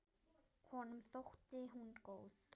Honum þótti hún góð.